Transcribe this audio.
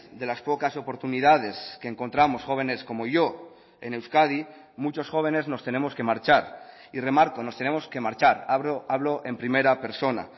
de las pocas oportunidades que encontramos jóvenes como yo en euskadi muchos jóvenes nos tenemos que marchar y remarco nos tenemos que marchar hablo en primera persona